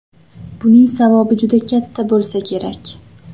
Buning savobi juda katta bo‘lsa kerak.